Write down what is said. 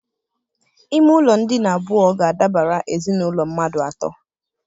Ime ụlọ ndina abụọ ga-adabara ezinaụlọ mmadụ atọ.